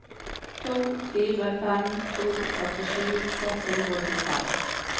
to fire fem to førtisju seks hundre og tjuefem